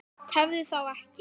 Tefðu þá ekki.